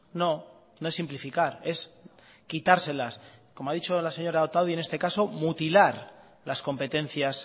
no no es simplificar es quitárselas como ha dicho la señora otadui en este caso mutilar las competencias